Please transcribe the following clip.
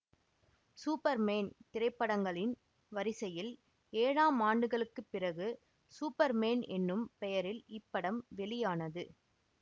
super man திரைப்படங்களின் வரிசையில் ஏழாம் ஆண்டுகளுக்கு பிறகு சூப்பர் மேன் எனும் பெயரில் இப்படம் வெளியானது